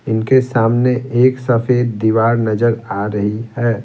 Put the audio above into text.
इनके सामने एक सफेद दीवार नजर आ रही है।